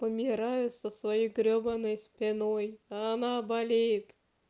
помираю со своей гребаной спиной она болит